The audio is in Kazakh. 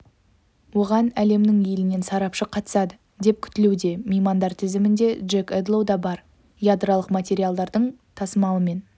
оған әлемнің елінен сарапшы қатысады деп күтілуде меймандар тізімінде джек эдлоу да бар ядролық материалдардың тасымалымен